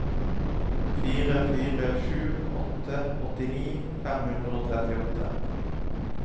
fire fire sju sju åttini fem hundre og trettiåtte